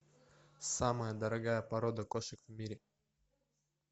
самая дорогая порода кошек в мире